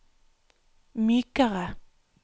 mykere